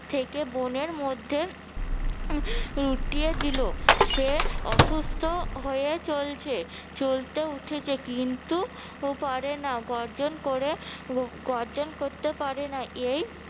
থেকে বনের মধ্যে উম টিয়ে দিলো সে অসুস্থ হয়ে চলছে চলতে উঠছে কিন্তু উহ পারে না গর্জন করে গর্জন করতে পারে না এই